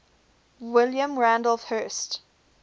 william randolph hearst